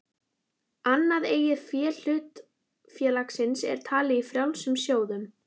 Annað eigið fé hlutafélags er talið í frjálsum sjóðum.